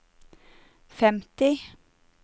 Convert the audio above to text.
femti